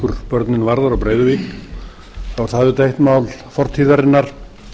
hvað breiðavíkurbörnin varðar og breiðavík er það auðvitað eitt mál fortíðarinnar